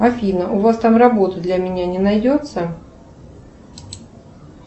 афина у вас там работы для меня не найдется